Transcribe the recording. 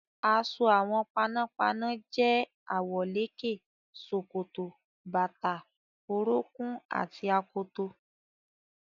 Aṣọ àwọn panápaná jẹ́ àwọ̀lékè, ṣòkòtò, bàtà orúnkún àti akoto.